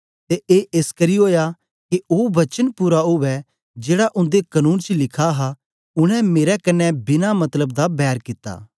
ते ए एसकरी ओया के ओ वचन पूरा उवै जेड़ा उन्दे कनून च लिखा हा उनै मेरे कन्ने बिना मतलब दा बैर कित्ता